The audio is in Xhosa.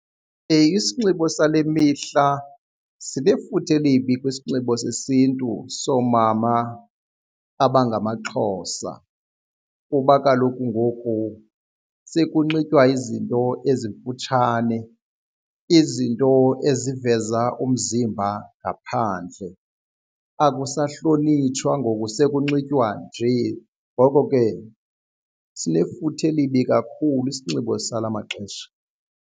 Isinxibo sale mihla sinefuthe elibi kwisinxibo sesintu soomama abangamaXhosa kuba kaloku ngoku sekunxitywa izinto ezimfutshane, izinto eziveza umzimba ngaphandle. Akusahlonitshwa ngoku sekunxitywa nje ngoko ke sinefuthe elibi kakhulu isinxibo sala maxesha.